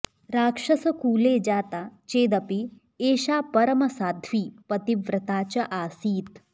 राक्षसकुले जाता चेदपि एषा परमसाध्वी पतिव्रता च आसीत्